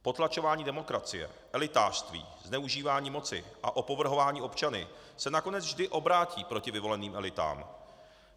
Potlačování demokracie, elitářství, zneužívání moci a opovrhování občany se nakonec vždy obrátí proti vyvoleným elitám.